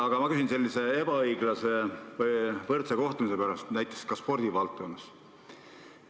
Aga ma küsin ebaõiglase või võrdse kohtlemise kohta näiteks spordivaldkonnas.